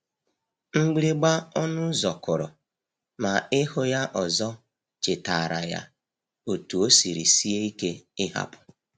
Mgbịrịmgba ọnụ ụzọ kụrụ, ma ịhụ ya ọzọ chetaara ya otú o siri sie ike ịhapụ.